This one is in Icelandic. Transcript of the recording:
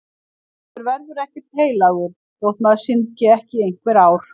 Maður verður ekkert heilagur þótt maður syndgi ekki í einhver ár.